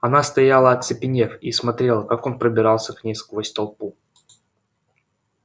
она стояла оцепенев и смотрела как он пробирался к ней сквозь толпу